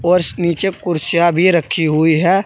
नीचे कुर्सियां भी रखी हुई है।